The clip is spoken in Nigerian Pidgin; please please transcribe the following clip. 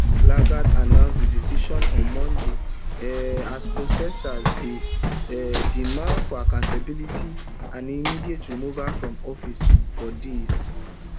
lagat announce di decision on monday um as protesters dey um demand for accountability and immediate removal from office for days